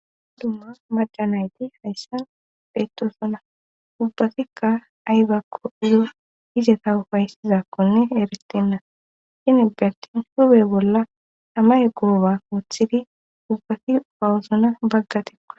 Dumma majjanayti hayssa beettosuna ubbatikka aybakko iyo izeta ufayssizakkonne eeristenna shini bentin hube bolla amaye guoba wothidi ubbati pawusuna bagga tikko.